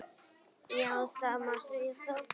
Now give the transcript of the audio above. Já það má segja það.